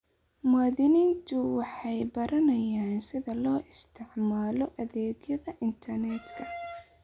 Muwaadiniintu waxay baranayaan sida loo isticmaalo adeegyada internetka.